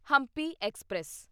Hampi express